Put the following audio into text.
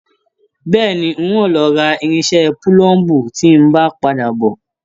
Bẹ́ẹ̀ni, n o lọ rà irinṣẹ́ púlúmbu tí n bá n padà bọ.